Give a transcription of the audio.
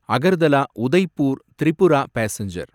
Agartala Udaipur Tripura passenger